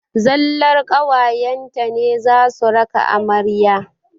Zallar ƙawayen ta ne za su raka amarya.